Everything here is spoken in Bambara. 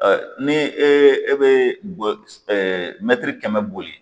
ni e bɛ mɛtiri kɛmɛ boli